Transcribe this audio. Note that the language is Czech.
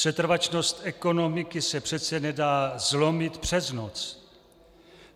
Setrvačnost ekonomiky se přece nedá zlomit přes noc.